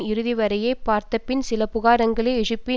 இறுதி வரைவை பார்த்தபின் சில புகார்களை எழுப்பி